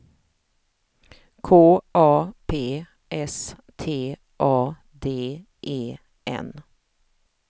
K A P S T A D E N